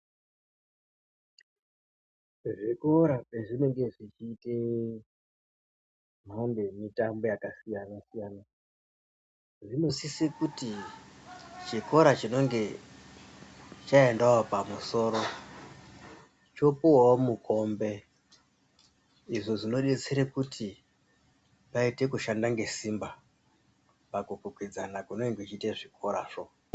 Zvikora pazvinenge zvichiyite mhando yemitambo yakasiyana-siyana, zvinosisa kuti chikora chinenge chayendawo pamusoro, chopuwawo mukombe, izvo zvinodetsera kuti payite kushanda ngesimba pakukwikwidzana kunenge kwechiita zvikorazvo.